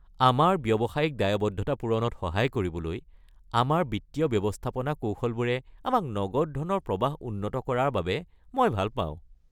আমাৰ ব্যৱসায়িক দায়বদ্ধতা পূৰণত সহায় কৰিবলৈ আমাৰ বিত্তীয় ব্যৱস্থাপনা কৌশলবোৰে আমাৰ নগদ ধনৰ প্ৰৱাহ উন্নত কৰা বাবে মই ভাল পাওঁ।